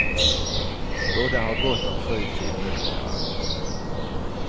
Båda har gott om fritid numera.